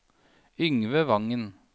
Yngve Wangen